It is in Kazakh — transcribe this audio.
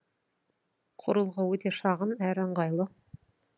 құрылғы өте шағын әрі ыңғайлы